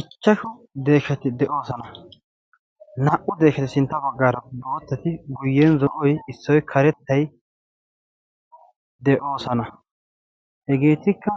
Ichchashu deesshati de'oosana. naa"u deeshati sintta baggaara boottati guyyen zo'oy issoy karettay de'oosana. hegeetikka